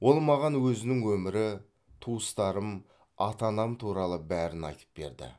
ол маған өзінің өмірі туыстарым ата анам туралы бәрін айтып берді